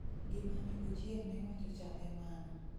gimane ochieng' newachocha e mano